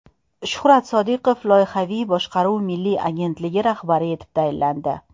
Shuhrat Sodiqov Loyihaviy boshqaruv milliy agentligi rahbari etib tayinlandi.